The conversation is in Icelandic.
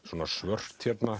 svört hérna